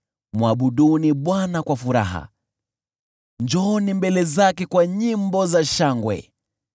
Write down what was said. Mwabuduni Bwana kwa furaha; njooni mbele zake kwa nyimbo za shangwe.